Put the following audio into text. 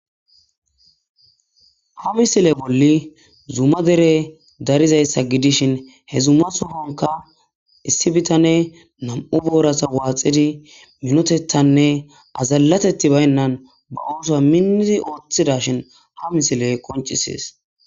Ha misile bolli zuma derey daridayisa gidishin he zuma sohonika issi bitaney na'mu boraza waxidi minotethanee azalatethe bayina oso minidi othizashini ha misiley qonicises